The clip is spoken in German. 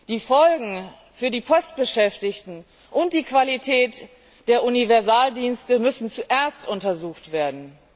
Die Folgen für die Postbeschäftigten und die Qualität der Universaldienste müssen zuerst untersucht werden.